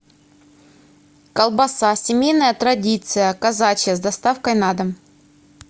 колбаса семейная традиция казачья с доставкой на дом